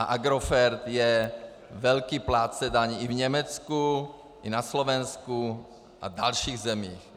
A Agrofert je velký plátce daní i v Německu, i na Slovensku a dalších zemích.